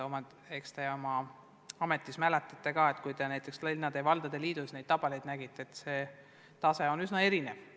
Küllap te oma ametiajast mäletate ka, et kui te näiteks linnade ja valdade liidus neid tabeleid vaatasite, siis nägite, et see tase on üsna erinev.